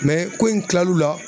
ko in kilal'u la